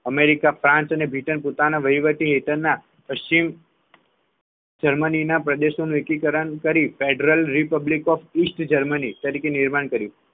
America France અને Britain પોતાના વહીવટી હેઠળના પશ્ચિમ જર્મનીના પ્રદેશો નું એકીકરણ કરી Federal Republic of East Germany તરીકે નિર્માણ કર્યું